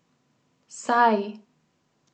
Saj!